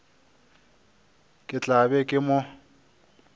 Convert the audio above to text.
ke tla be ke mo